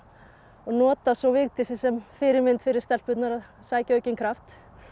nota svo Vigdísi sem fyrirmynd fyrir stelpurnar að sækja aukinn kraft